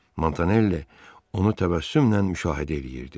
Montanelli onu təbəssümlə müşahidə eləyirdi.